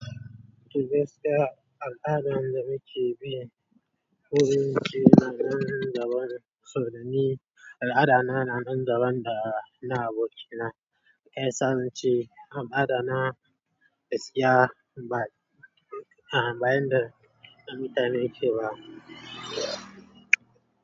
To gaskiya al'adan da muke bi. Wurin ƙira na nan daban, saurani al'adana na nan daban da na abokina. Shiyasa na ce al'adana gaskiya ba, a bayan da na mutane ke ba.